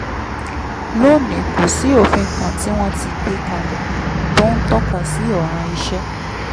lónìí kò sí òfin kan tí wọ́n ti gbé kalẹ̀ tó ń tọ́ka sí ọ̀ràn iṣẹ́